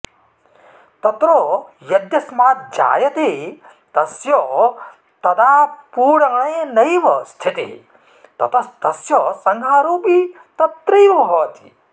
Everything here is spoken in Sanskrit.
तत्र यद्यस्माज्जायते तस्य तदाऽऽपूरणेनैव स्थितिः ततस्तस्य संहारोऽपि तत्रैव भवति